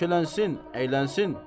Nəşələnsin, əylənsin!